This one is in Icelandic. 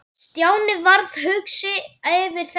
Stjáni varð hugsi yfir þessu.